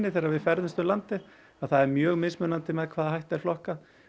þegar við ferðumst um landið að það er mjög mismunandi með hvaða hætti er flokkað